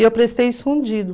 E eu prestei escondido